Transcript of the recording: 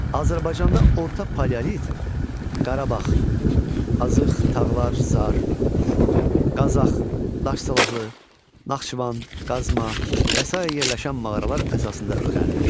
Azərbaycanda orta paleolit Qarabağ, Azıx, Tağlar, Zar, Qazax, Daş salahlı, Naxçıvan, Qazma və sair yerləşən mağaralar əsasında öyrənilmişdir.